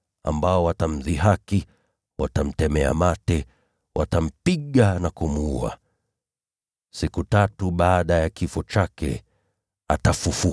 ambao watamdhihaki na kumtemea mate, watampiga na kumuua. Siku tatu baadaye atafufuka.”